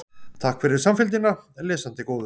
Takk fyrir samfylgdina, lesandi góður.